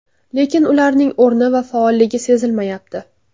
Lekin ularning o‘rni va faolligi sezilmayapti.